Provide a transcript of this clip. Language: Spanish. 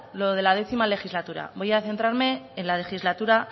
lo de la décimo legislatura voy a centrarme en la legislatura